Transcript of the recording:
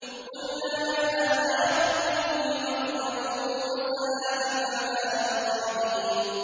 قُلْنَا يَا نَارُ كُونِي بَرْدًا وَسَلَامًا عَلَىٰ إِبْرَاهِيمَ